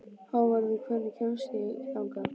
Hávarður, hvernig kemst ég þangað?